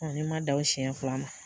ne ma da o siɲɛ fila ma